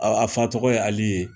A fa tɔgɔ ye Ali ye.